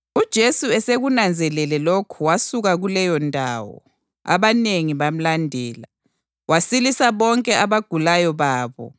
UJesu esekunanzelele lokho wasuka kuleyondawo. Abanengi bamlandela, wasilisa bonke abagulayo babo,